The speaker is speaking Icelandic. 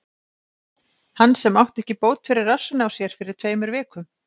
Hann sem átti ekki bót fyrir rassinn á sér fyrir tveimur vikum?